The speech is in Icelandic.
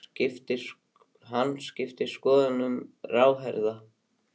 Hann skipti um skoðun sem ráðherra